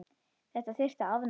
Þetta þyrfti að afnema.